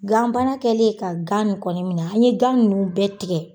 Gan bana kɛlen ka gan kɔni minɛ an ye gan ninnu bɛɛ tigɛ.